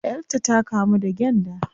Yar ta ta kamu da gyanda